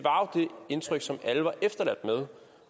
indtryk som alle var efterladt med